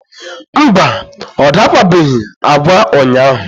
mba, ọ dakwabeghị agwa ụnyaahụ.